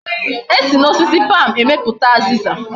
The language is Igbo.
Esi na osisi palm emeputa aziza